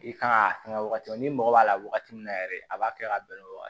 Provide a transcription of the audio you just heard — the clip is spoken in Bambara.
I kan ka fɛngɛ wagati min n'i mago b'a la wagati min na yɛrɛ a b'a kɛ ka bɛn ni o